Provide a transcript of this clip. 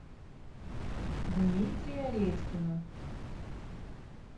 дмитрия редькина